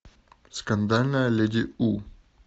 скандальная леди у